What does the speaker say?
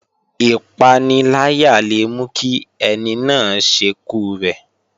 Ìpaniláyà le mú kí ẹni náà ṣekú rẹ̀